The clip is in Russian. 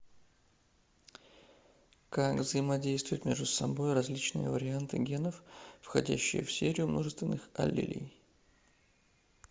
как взаимодействуют между собой различные варианты генов входящие в серию множественных аллелей